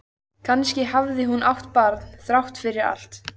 Kannski hafði hún átt barn þrátt fyrir allt.